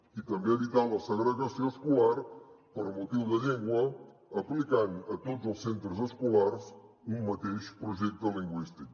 i també evitar la segregació escolar per motius de llengua aplicant a tots els centres escolars un mateix projecte lingüístic